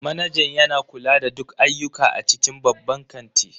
Manajan yana kula da duk ayyuka a cikin babban kanti